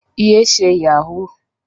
Yé ṣe Yahoo!